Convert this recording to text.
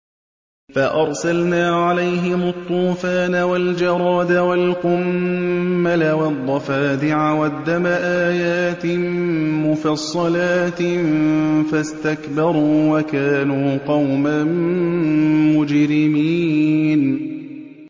فَأَرْسَلْنَا عَلَيْهِمُ الطُّوفَانَ وَالْجَرَادَ وَالْقُمَّلَ وَالضَّفَادِعَ وَالدَّمَ آيَاتٍ مُّفَصَّلَاتٍ فَاسْتَكْبَرُوا وَكَانُوا قَوْمًا مُّجْرِمِينَ